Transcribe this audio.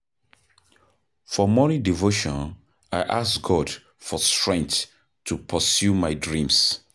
For morning devotion, I ask God for strength to pursue my dreams.